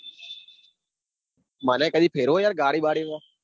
મને કદી ફેરવો ગાડી બાળી માં